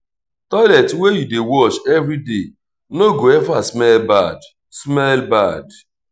toilet wey you dey wash every day no go ever smell bad. smell bad.